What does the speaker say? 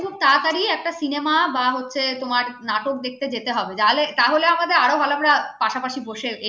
খুব তাড়াতাড়ি একটা cinema বা হচ্ছে নাটক দেখতে যেতে হবে তাহলে আমাদের আরো ভালো আমরা পাশাপাশি বসে enjoy